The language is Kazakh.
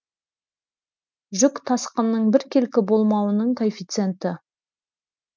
жүк тасқынының біркелкі болмауының коэффициенті